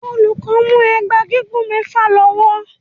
Olùkọ́ mú ẹgba gígùn mẹfa lọ́wọ́.